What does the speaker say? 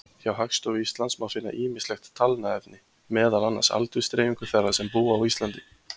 Hjá Hagstofu Íslands má finna ýmislegt talnaefni, meðal annars aldursdreifingu þeirra sem búa á Íslandi.